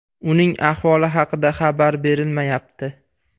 Uning ahvoli haqida xabar berilmayapti.